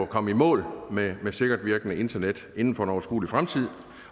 komme i mål med sikkert virkende internet inden for en overskuelig fremtid